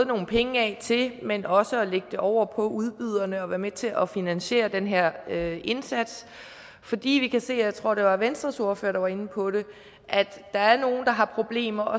nogle penge af til men også at lægge det over på udbyderne at være med til at finansiere den her indsats fordi vi kan se jeg tror det var venstres ordfører der var inde på det at der er nogle der har problemer